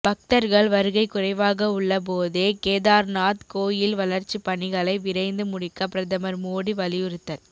பக்தர்கள் வருகை குறைவாக உள்ள போதே கேதார்நாத் கோயில் வளர்ச்சி பணிகளை விரைந்து முடிக்க பிரதமர் மோடி வலியுறுத்தல்